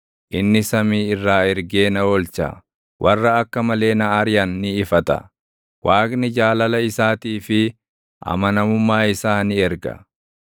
Inni samii irraa ergee na oolcha; warra akka malee na ariʼan ni ifata; Waaqni jaalala isaatii fi amanamummaa isaa ni erga.